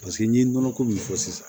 Paseke n'i ye nɔnɔ ko min fɔ sisan